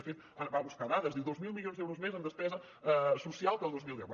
de fet va a buscar dades diu dos mil milions d’euros més en despesa social que el dos mil deu